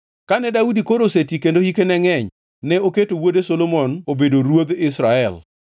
Kane Daudi koro oseti kendo hike ne ngʼeny, ne oketo wuode Solomon obedo ruodh Israel.